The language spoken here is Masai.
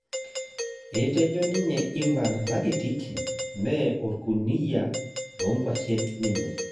etejo ninye Ivan rakitik me okruniyia longwashen ninye